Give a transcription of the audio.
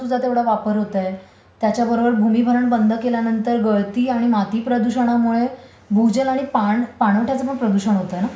कारण जमिनीचा तुझा तेवढा वापर होत आहे. त्याच्याबरोबर भूमिभरण बंद केल्यांनतर गळती आणि माती प्रदूषणामुळे भूजल आणि पाणवठ्याचं पण प्रदूषण होतंय ना